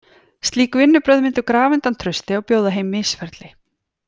Slík vinnubrögð myndu grafa undan trausti og bjóða heim misferli.